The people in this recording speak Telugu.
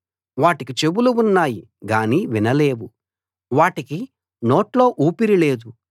వాటికి చెవులు ఉన్నాయి గానీ వినలేవు వాటికి నోట్లో ఊపిరి లేదు